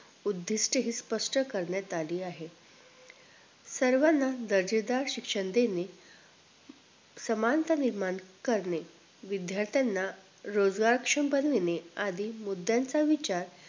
उद्धीष्टये हि स्पष्ट करण्यात अली आहेत सर्वाना दर्जेदार शिक्षण देणे मानता निर्माण करणे विध्यार्थ्यांना रोजगरक्षम देणे आधी मुद्यांचा विचार